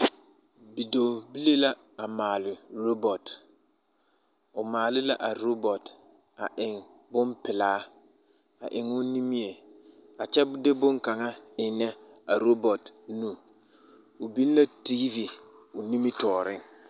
Bidɔɔbilii la a maale robɔt o maale la a tobɔt a eŋ bompelaa a eŋ o nimie a kyɛ de boŋkaŋa ennɛ a robɔt nu o biŋ la tiivi o nimitɔɔreŋ.